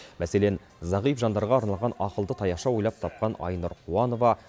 мәселен зағип жандарға арналған ақылды таяқша ойлап тапқан айнұр қуанова